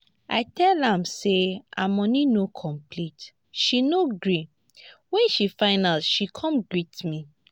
i tell am say her money no complete she no gree wen she find out she come greet me